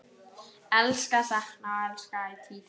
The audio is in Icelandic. Elska, sakna og elska ætíð.